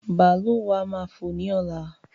Bàálù wa máa fò ní ọ̀la